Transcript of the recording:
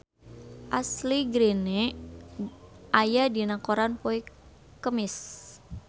Ashley Greene aya dina koran poe Kemis